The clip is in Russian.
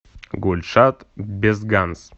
гульшат безганс